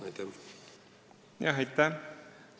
Aitäh!